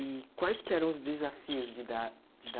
E quais que eram os desafios de dar de dar